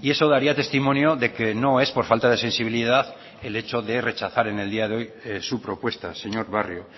y eso daría testimonio de que no es por falta de sensibilidad el hecho de rechazar en el día de hoy su propuesta señor barrio